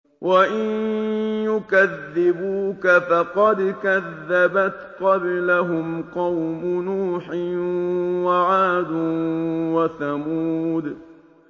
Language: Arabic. وَإِن يُكَذِّبُوكَ فَقَدْ كَذَّبَتْ قَبْلَهُمْ قَوْمُ نُوحٍ وَعَادٌ وَثَمُودُ